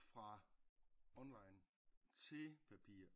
Fra online til papir